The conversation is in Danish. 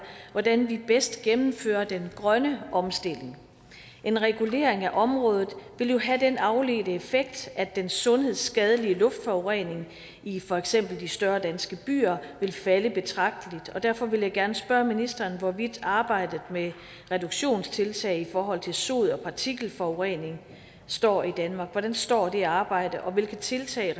hvordan vi bedst gennemfører den grønne omstilling en regulering af området vil jo have den afledte effekt at den sundhedsskadelige luftforurening i for eksempel de større danske byer vil falde betragteligt derfor vil jeg gerne spørge ministeren hvordan arbejdet med reduktionstiltag i forhold til sod og partikelforurening står i danmark hvordan står det arbejde og hvilke tiltag